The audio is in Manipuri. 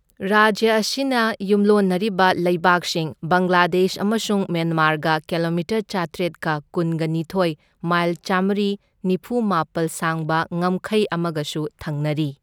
ꯔꯥꯖ꯭ꯌ ꯑꯁꯤꯅ ꯌꯨꯝꯂꯣꯟꯅꯔꯤꯕ ꯂꯩꯕꯥꯛꯁꯤꯡ ꯕꯪꯒ꯭ꯂꯥꯗꯦꯁ ꯑꯃꯁꯨꯡ ꯃ꯭ꯌꯥꯟꯃꯥꯔꯒ ꯀꯤꯂꯣꯃꯤꯇꯔ ꯆꯥꯇ꯭ꯔꯦꯠꯀ ꯀꯨꯟꯒꯅꯤꯊꯣꯢ, ꯃꯥꯏꯜ ꯆꯥꯝꯃ꯭ꯔꯤꯒ ꯅꯤꯐꯨꯃꯥꯄꯜ ꯁꯥꯡꯕ ꯉꯝꯈꯩ ꯑꯃꯒꯁꯨ ꯊꯪꯅꯔꯤ꯫